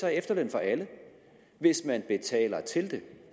er efterløn for alle hvis man betaler til den